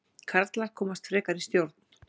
Karlar komast frekar í stjórn